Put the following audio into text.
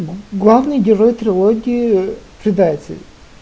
главный герой трилогии предатель